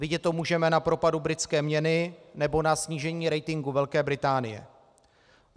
Vidět to můžeme na propadu britské měny nebo na snížení ratingu Velké Británie.